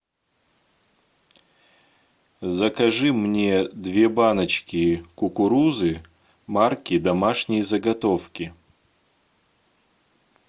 закажи мне две баночки кукурузы марки домашние заготовки